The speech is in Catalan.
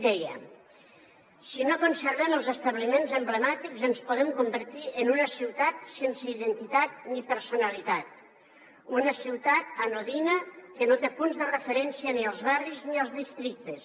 deia si no conservem els establiments emblemàtics ens podem convertir en una ciutat sense identitat ni personalitat una ciutat anodina que no té punts de referència ni als barris ni als districtes